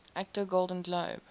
actor golden globe